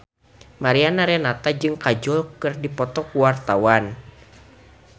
Mariana Renata jeung Kajol keur dipoto ku wartawan